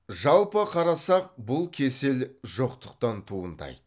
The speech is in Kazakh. жалпы қарасақ бұл кесел жоқтықтан туындайды